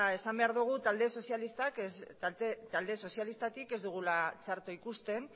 esan behar dugu talde sozialistatik ez dugula txarto ikusten